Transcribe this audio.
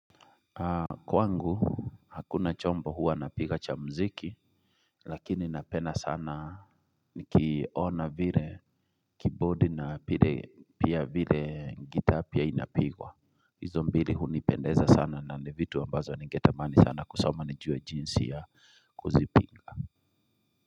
Kwangu hakuna chomba huwa napiga cha mziki, lakini na penda sana nikiona vile kibodi na pia vile ngitaa pia inapigwa. Izo mbili huni pendeza sana na ni vitu wa mbazo ningetamani sana kusoma nijue jinsi ya kuzipiga.